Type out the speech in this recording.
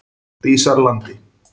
Dísarlandi